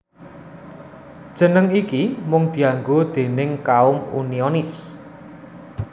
Jeneng iki mung dianggo déning kaum Unionis